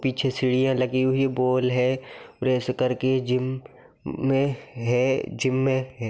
पीछे सीढ़ियाँ लगी हुई है बॉल है प्रेस कर के जिम मे है जिम मे है ।